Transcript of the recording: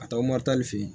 Ka taga moritani fe yen